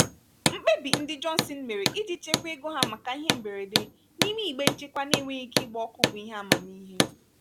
mkpebi ndị johnson mere iji chekwaa ego ha maka ihe mberede n'ime igbe nchekwa na-enweghị ike ịgba ọkụ bụ ihe amamihe.